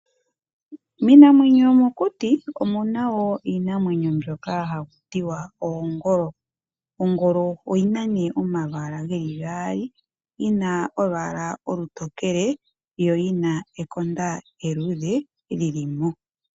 Miinamwenyo yomokuti omu na wo iinamwenyo mbyoka haku tiwa oongolo. Ongolo oyi na nee omalwaala li gaali. Yi na olwaala olutokele, yo yi na ekonda e luluudhe lili mo.